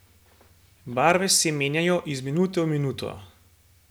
Barve se menjajo iz minute v minuto.